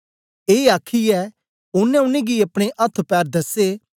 ए आखयै ओनें उनेंगी अपने अथ्थ पैर दसे